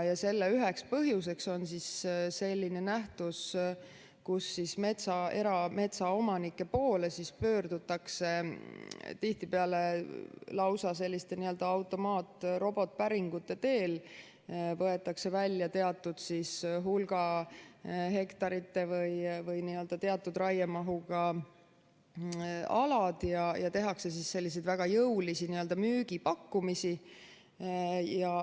Selle üheks põhjuseks on nähtus, kus erametsaomanike poole pöördutakse tihtipeale lausa selliste automaat- või robotpäringute teel, võetakse välja teatud hulga hektarite või teatud raiemahuga alad ja tehakse väga jõulisi müügipakkumisi.